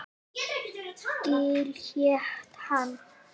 Gil hét hann.